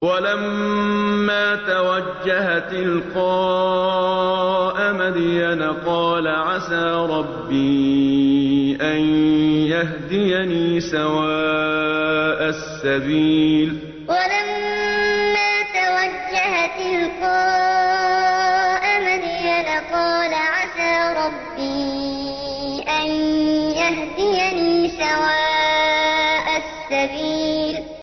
وَلَمَّا تَوَجَّهَ تِلْقَاءَ مَدْيَنَ قَالَ عَسَىٰ رَبِّي أَن يَهْدِيَنِي سَوَاءَ السَّبِيلِ وَلَمَّا تَوَجَّهَ تِلْقَاءَ مَدْيَنَ قَالَ عَسَىٰ رَبِّي أَن يَهْدِيَنِي سَوَاءَ السَّبِيلِ